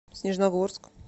снежногорск